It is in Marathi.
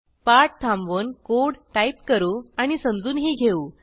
पाठ थांबवून कोड टाईप करू आणि समजूनही घेऊ